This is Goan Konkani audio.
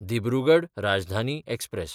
दिब्रुगड राजधानी एक्सप्रॅस